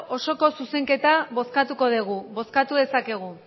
osoko zuzenketa bozkatu dugu bozkatu dezakegu